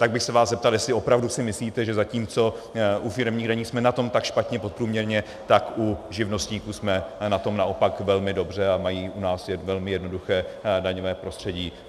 Tak bych se vás zeptal, jestli opravdu si myslíte, že zatímco u firemních daní jsme na tom tak špatně podprůměrně, tak u živnostníků jsme na tom naopak velmi dobře a mají u nás velmi jednoduché daňové prostředí.